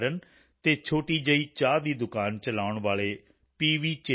ਮੁਰਲੀਧਰਨ ਅਤੇ ਛੋਟੀ ਜਿਹੀ ਚਾਹ ਦੀ ਦੁਕਾਨ ਚਲਾਉਣ ਵਾਲੇ ਪੀ